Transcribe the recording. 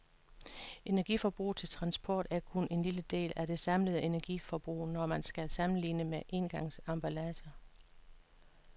Energiforbruget til transport er kun en lille del af det samlede energiforbrug, når man skal sammenligne engangsemballager.